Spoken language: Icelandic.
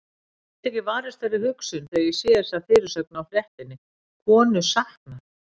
Ég gat ekki varist þeirri hugsun þegar ég sá þessa fyrirsögn á fréttinni: Konu saknað.